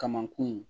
Kamankun